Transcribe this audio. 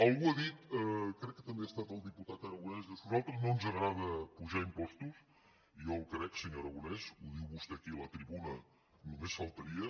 algú ha dit crec que també ha estat el diputat aragonès diu és que a nosaltres no ens agrada apujar impostos i jo el crec senyor aragonès ho diu vostè aquí a la tribuna només faltaria